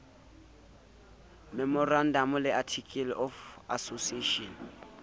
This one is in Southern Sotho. memorandamo le articles of association